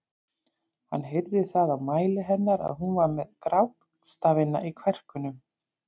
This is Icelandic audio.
Hann heyrði það á mæli hennar að hún var með grátstafina í kverkunum.